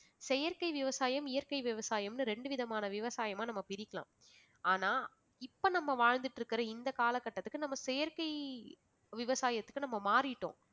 செயற்கை விவசாயம் இயற்கை விவசாயம்ன்னு ரெண்டு விதமான விவசாயமா நம்ம பிரிக்கலாம். ஆனா இப்ப நம்ம வாழ்ந்துட்டிருக்கிற இந்த காலகட்டத்துக்கு நம்ம செயற்கை விவசாயத்துக்கு நம்ம மாறிட்டோம்